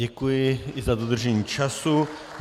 Děkuji i za dodržení času.